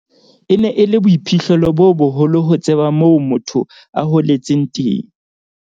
"E ne e le boiphihlelo bo boholo ho tseba moo motho a holetseng teng."